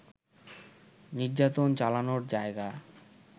নির্যাতন চালানোর জায়গা